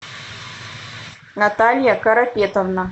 наталья карапетовна